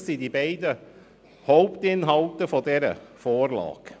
Dies sind die beiden Hauptinhalte dieser Vorlage.